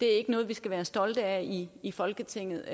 er ikke noget vi skal være stolte af i i folketinget